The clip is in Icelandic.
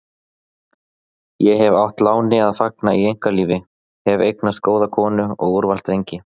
Ég hef átt láni að fagna í einkalífi, hef eignast góða konu og úrvals drengi.